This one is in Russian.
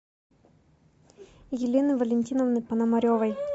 елены валентиновны пономаревой